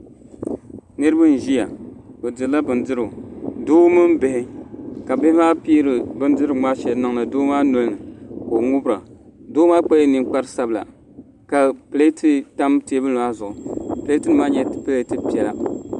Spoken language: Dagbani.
Niraba n ʒiya bi dirila bindirigu doo mini bihi ka bihi maa piiri bindirigu maa shɛli n niŋdi doo maa nolini ka o ŋubira doo maa kpala ninkpari sabila ka pileeti tam teebuli maa zuɣu pileeti nim maa nyɛla pileet piɛla